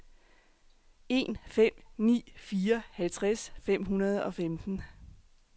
en fem ni fire halvtreds fem hundrede og femten